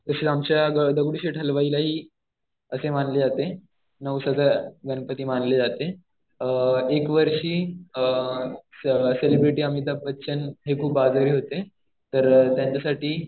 तसेच आमच्या दगडूशेठ हलवाईलाही असे मानले जाते. नवसाचं गणपती मानले जाते. एक वर्षी सेलिब्रिटी अमिताभ बच्चन हे खूप आजारी होते. तर त्यांच्यासाठी